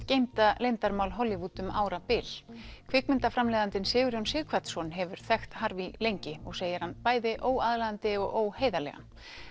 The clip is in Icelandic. geymda leyndarmál Hollywood um árabil Sigurjón Sighvatsson hefur þekkt lengi og segir hann bæði óaðlaðandi og óheiðarlegan